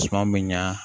Suma bɛ ɲa